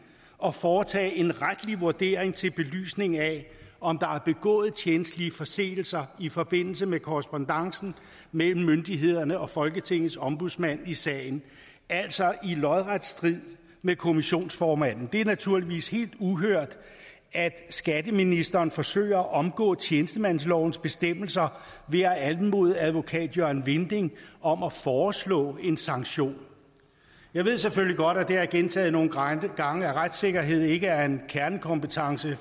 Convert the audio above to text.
at foretage en retlig vurdering til belysning af om der er begået tjenstlige forseelser i forbindelse med korrespondancen mellem myndighederne og folketingets ombudsmand i sagen altså i lodret strid med kommissionsformanden det er naturligvis helt uhørt at skatteministeren forsøger at omgå tjenestemandslovens bestemmelser ved at anmode advokat jørgen vinding om at foreslå en sanktion jeg ved selvfølgelig godt og det har jeg gentaget nogle gange at retssikkerhed ikke er en kernekompetence